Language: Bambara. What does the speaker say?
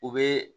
U bɛ